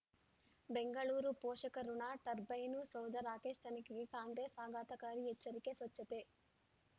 ಬೆಂಗಳೂರು ಪೋಷಕರಋಣ ಟರ್ಬೈನು ಸೌಧ ರಾಕೇಶ್ ತನಿಖೆಗೆ ಕಾಂಗ್ರೆಸ್ ಆಘಾತಕಾರಿ ಎಚ್ಚರಿಕೆ ಸ್ವಚ್ಛತೆ